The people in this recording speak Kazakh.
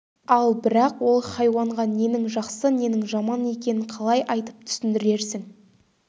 ал бірақ ол хайуанға ненің жақсы ненің жаман екенін қалай айтып түсіндірерсің